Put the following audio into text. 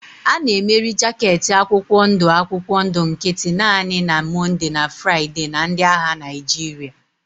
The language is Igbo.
A na-emeri jaket akwụkwọ ndụ akwụkwọ ndụ nkịtị naanị na Mọnde na Fraịde na ndị agha Naịjirịa.